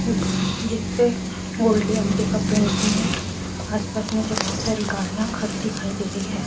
जिसपे वोल्टी आंटी का पेंटिंग है आस पास नीचे बहोत सारी गाड़ियां खड़ी दिखाई दे रही है।